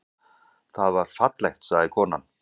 Það var fallegt, sagði konan.